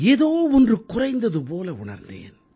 ஏதோ ஒன்று குறைந்தது போல உணர்ந்தேன்